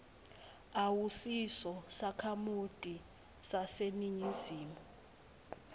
awusiso sakhamuti saseningizimu